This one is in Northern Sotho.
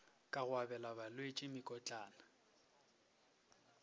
ka go abela balwetši mekotlana